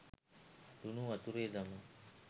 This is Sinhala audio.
ලුණු වතුරේ දමා